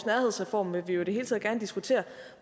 nærhedsreform vil vi jo i det hele taget gerne diskutere